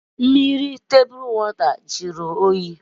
Mmiri okpokoro a jụrụ oyi?